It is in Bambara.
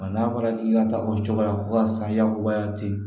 n'a fɔra k'i ka taa o cogoya san yakubaya te yen